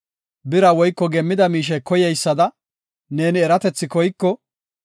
Bira woyko geemmida miishe koyeysada, neeni eratethi koyko,